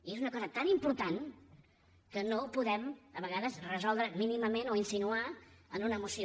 i és una cosa tan important que no ho podem a vegades resoldre mínimament o insinuar amb una moció